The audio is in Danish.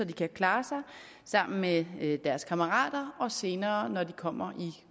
kan klare sig med deres kammerater og senere når de kommer i